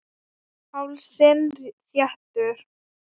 Hálsinn þéttur.